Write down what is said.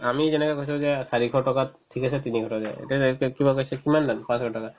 আমি যেনেকে কৈছো যে চাৰিশ টকাত ঠিক আছে তিনিশ টকা দিয়ক এতিয়া তাই কিবা কৈছে কিমান দাম পাঁচশ টকা